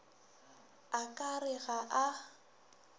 a ka re ga a